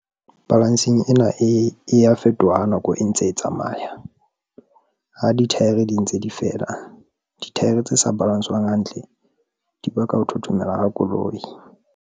Balancing ena e a fetoha ha nako e ntse e tsamaya, ha dithaere di ntse di fela. Dithaere tse sa balanswang hantle di baka ho thothomela ha koloi.